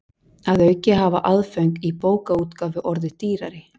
Að auki hafa aðföng í bókaútgáfu orðið dýrari.